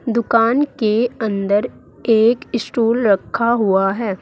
दुकान के अंदर एक स्टूल रखा हुआ है।